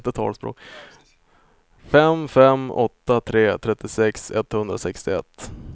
fem fem åtta tre trettiosex etthundrasextioett